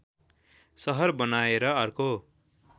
सहर बनाएर अर्को